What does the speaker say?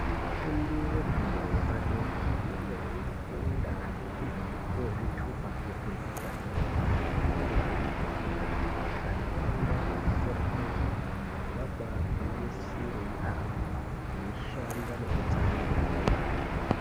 Vafundi vefundo zvepadera vanenge veifunda kuti vapuwe zvitupa zvefundo yepadera dera vanokurudzirwa maningi Vaenda kuzvikora kwazvo vabagwinyisira yambo veishanda nekutsamwirira kwemene.